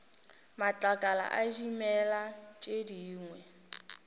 matlakala a dimela tše dingwe